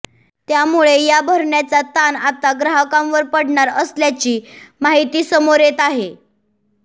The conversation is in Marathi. त्यामुळे या भरण्याचा ताण आता ग्राहकांवर पडणार असल्याची माहिती समोर येत आहे